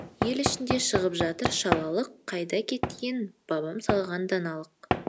ел ішінде шығып жатыр шалалық қайда кеткен бабам салған даналық